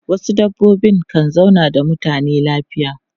Wasu dabbobi kan zauna da mutane lafiya.